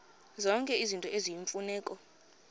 zonke izinto eziyimfuneko